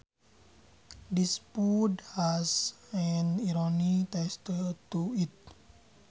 This food has an irony taste to it